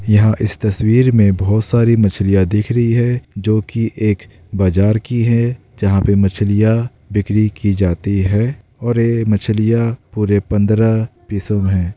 यहाँ इस तस्वीर में बहुत सारी मछलियाँ दिख रही है जो की एक बाजार की है जहाँ पर मछलियाँ बिक्री की जाती है और ये मछलियाँ पूरे पंद्रह पीसों में हैं।